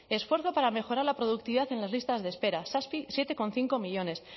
esfuerzo para mejorar la productividad en las listas de espera siete coma cinco millónes